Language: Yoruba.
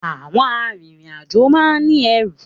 Àwọn arìnrìnàjò máa n ní ẹrù